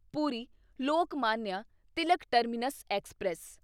Puri Lokmanya Tilak terminus express